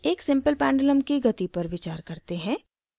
एक simple pendulum की गति पर विचार करते हैं